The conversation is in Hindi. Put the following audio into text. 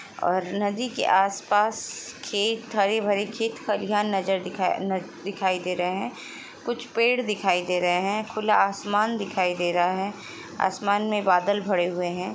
और नदी के आसपास खेत हरे भरे खेत खलिहाँन नजर दिखा-न- दिखाई दे रहे है कुछ पेड़ दिखाई दे रहे है खुला आसमान दिखाई दे रहा है आसमान में बादल भरे हुए हैं ।